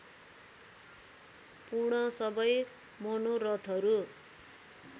पूर्ण सबै मनोरथहरू